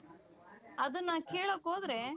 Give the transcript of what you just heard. ಅದುನ್ನ ಕೆಲ್ಲಕ್ ಹೋದ್ರೆ .